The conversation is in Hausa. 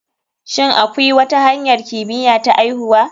Shin akwi wata hanyar kimiya ta aihuwa?